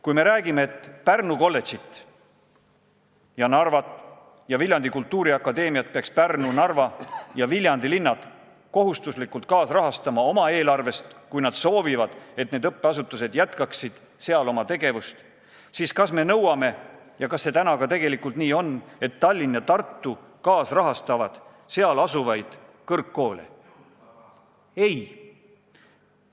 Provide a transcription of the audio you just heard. Kui me räägime, et Pärnu ja Narva kolledžit ja Viljandi Kultuuriakadeemiat peaksid Pärnu, Narva ja Viljandi kohustuslikus korras oma eelarvest kaasrahastama – juhul kui nad soovivad, et need õppeasutused seal oma tegevust jätkaksid –, siis kas me nõuame ja kas see täna tegelikult nii on, et ka Tallinn ja Tartu kaasrahastaksid seal asuvaid kõrgkoole?